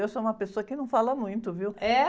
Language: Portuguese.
Eu sou uma pessoa que não fala muito, viu??